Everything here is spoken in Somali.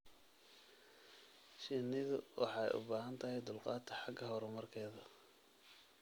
Shinnidu waxay u baahan tahay dulqaad xagga horumarkeeda.